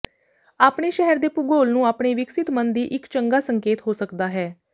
ਆਪਣੇ ਸ਼ਹਿਰ ਦੇ ਭੂਗੋਲ ਨੂੰ ਆਪਣੇ ਵਿਕਸਿਤ ਮਨ ਦੀ ਇੱਕ ਚੰਗਾ ਸੰਕੇਤ ਹੋ ਸਕਦਾ ਹੈ